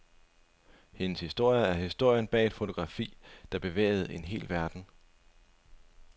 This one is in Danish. Hendes historie er historien bag et fotografi, der bevægede en hel verden.